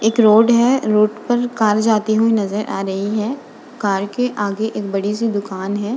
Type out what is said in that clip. इक रोड है। रोड पर कार जाती हुई नजर आ रही है। कार के आगे एक बड़ी सी दुकान है।